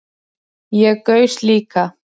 Ég gaus líka